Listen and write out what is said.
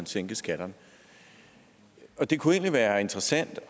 sænke skatterne det kunne egentlig være interessant